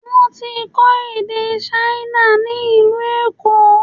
Wọ́n ti ń kọ́ èdè Ṣáínà ni ìlú Èkó.